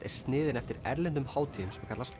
er sniðin eftir erlendum hátíðum sem kallast